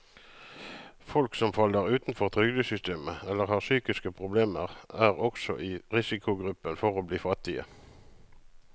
Folk som faller utenfor trygdesystemet eller har psykiske problemer, er også i risikogruppen for å bli fattige.